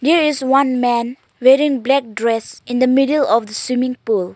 there is one man wearing black dress in the middle of the swimming pool.